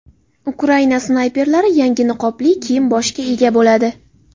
Ukraina snayperlari yangi niqobli kiyim-boshga ega bo‘ladi.